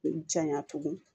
Janya tugun